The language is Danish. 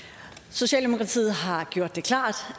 så så